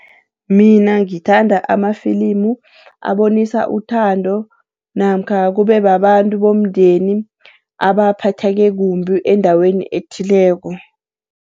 Mina ngithanda amafilimu abonisa uthando namkha kubebabantu bomndeni abaphatheke kumbi endaweni ethileko.